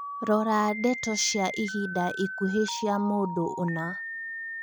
rora ndeto cĩa ĩhinda ĩkũhĩ cĩa mũndũ ũna